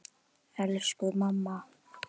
Elsku mamma.